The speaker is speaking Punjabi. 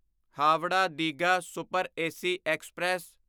Howrah Digha super AC express